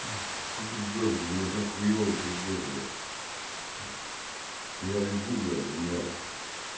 что ты ржошь мне так хуёва пиздец блядь я лежу блядь у меня